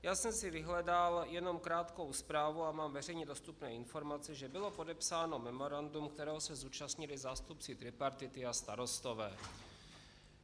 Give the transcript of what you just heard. Já jsem si vyhledal jenom krátkou zprávu a mám veřejně dostupné informace, že bylo podepsáno memorandum, kterého se zúčastnili zástupci tripartity a starostové.